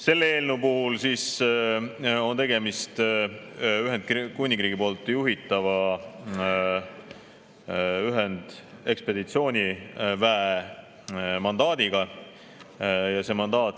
Selle eelnõu puhul on tegemist Ühendkuningriigi poolt juhitava ühendekspeditsiooniväe mandaadiga ja see mandaat …